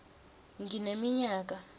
ngineminyaka